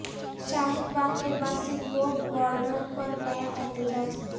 شاہین باغ کے بعد سنگھو بارڈر پر نیا احتجاج